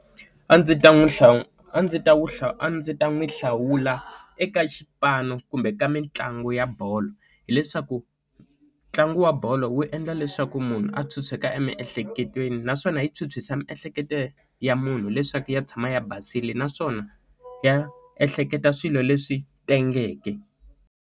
A ndzi ta n'wi hlawu a ndzi ta wu hlawu a ndzi ta n'wi hlawula eka xipano kumbe ka mitlangu ya bolo hileswaku ntlangu wa bolo wu endla leswaku munhu a chucheka emiehleketweni naswona yi chuchisa miehleketo ya munhu leswaku ya tshama ya basile naswona ya ehleketa swilo leswi tengeke.